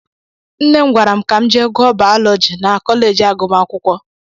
Nne m gwara m ka m jee gụọ Baalọji na Kọleeji agụmakwụkwọ.